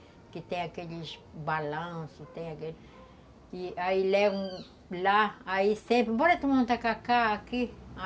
Que tem aqueles balanços, tem aquele... E aí levam lá, aí sempre... Bora tomar um tacacá aqui?